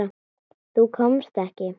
Þú komst ekki.